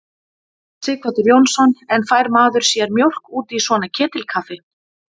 Sighvatur Jónsson: En fær maður sér mjólk út í svona ketilkaffi?